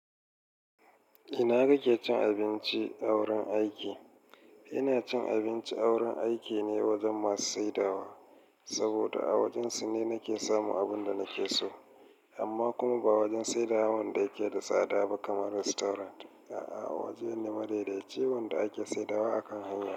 Ina kake cin abinci a wurin aiki? Ina cin abinci a wurin aiki ne wajen masu saidawa, saboda a wajensu ne nake samun abun da nake so. Amma kuma ba wajen saidawa wanda yake da tsada ba kamar restaurant. A'a, waje ne madaidaici wanda ake saidawa akan hanya.